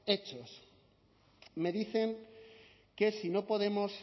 hechos me dicen que si no podemos